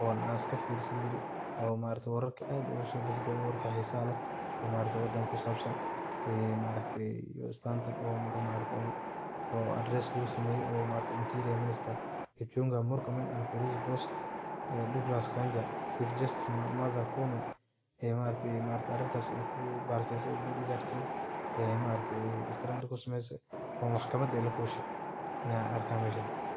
oo an iskafirsani jire oo maaragte wararka aad ogasobixi jire wararka xisaha leeh oo maaragte wadanka kusabsan iyo islantan oo mar address lugusameye oo interior minister Kipchumba Murkomen and police boss Douglas Kanja, Chief justice Martha Koome ee arintas ey maaraaagte bodgarkeda ey strand kusameyse oo maxkamada ey lafushe ayan arka meeshan.